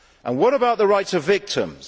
What about the rights of victims?